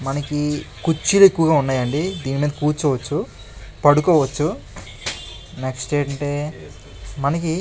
మనకి కుర్చీలు ఎక్కువగా ఉన్నాయండి. దీనిమీద కుర్చోవచ్చు పడుకోవచ్చు. నెక్స్ట్ ఏంటంటే మనకి --